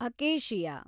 acacia